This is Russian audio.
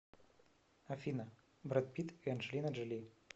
афина бред питт и анджелина джоли